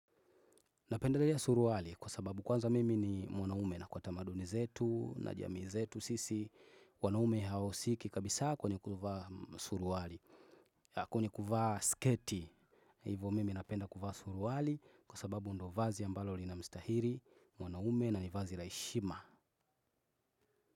Napendarea suruwali. Kwa sababu kwanza mimi ni mwanaume na kwa tamaduni zetu na jamii zetu sisi wanaume hawausiki kabisa, kwenye kuvaa suruwali kwenye kuvaa sketi. Hivo mimi napenda kuvaa suruwali, kwa sababu ndo vazi ambalo lina mstahiri mwanaume na nivazi la heshima.